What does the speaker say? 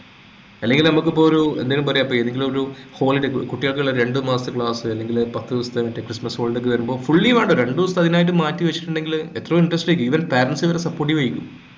അല്ലെങ്കിൽ നമ്മൾക്കിപ്പോ ഒരു എന്തെകിലും പറയാം ഇപ്പൊ ഏതെങ്കിലും ഒരു holiday കു കുട്ടികൾക്കുള്ള രണ്ട് മാസത്തെ ക്ലാസ് അല്ലെങ്കിൽ പത്തുദിവസത്തെ മറ്റേ christmas holiday വരുമ്പോ fully വേണ്ട രണ്ടുദിവസം അതിനായി മാറ്റി വച്ചിട്ടുണ്ടെങ്കിൽ എത്രയോ interesting ആയിരിക്കും even parents ന് വരെ supportive ആയിരിക്കും